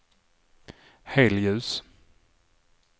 helljus